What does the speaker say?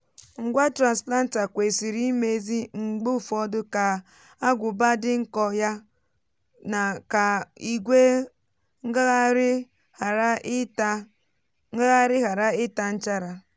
ngwa transplanter kwesịrị mmezi mgbe ụfọdụ ka agụbá dị nko ya na ka ígwè ngaghari ghara ịta ngaghari ghara ịta nchara.